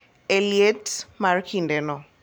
E liet mar kindeno